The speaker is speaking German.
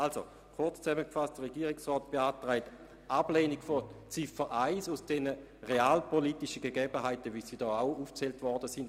Kurz zusammengefasst beantragt die Regierung Ablehnung der Ziffer 1 aus den realpolitischen Gegebenheiten heraus, die hier auch erwähnt worden sind.